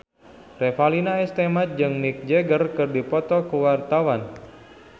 Revalina S. Temat jeung Mick Jagger keur dipoto ku wartawan